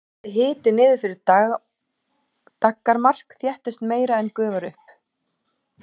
fari hiti niður fyrir daggarmark þéttist meira en gufar upp